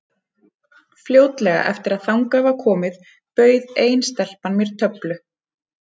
Fljótlega eftir að þangað var komið bauð ein stelpan mér töflu.